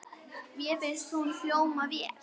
Mér fannst hún hljóma vel.